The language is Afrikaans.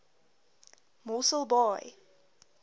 mosselbaai